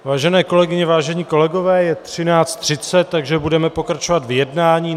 Vážené kolegyně, vážení kolegové, je 13.30, takže budeme pokračovat v jednání.